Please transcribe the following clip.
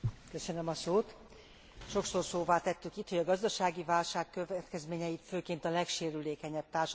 Sokszor szóvá tettük itt, hogy a gazdasági válság következményeit főként a legsérülékenyebb társadalmi csoportok viselik.